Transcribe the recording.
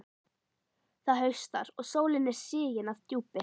Það haustar, og sólin er sigin að djúpi.